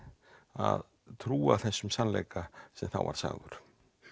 að trúa þessum sannleika sem þá var sagður